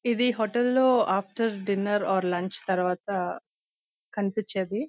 ఇది హోటల్ లో after dinner or lunch తరువాత కనిపించేది.